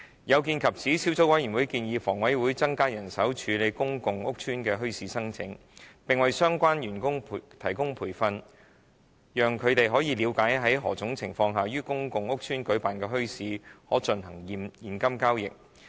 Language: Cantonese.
有見及此，小組委員會建議房委會增加人手處理公共屋邨的墟市申請，並為相關員工提供培訓，讓他們了解在何種情況下，於公共屋邨舉辦的墟市可進行現金交易。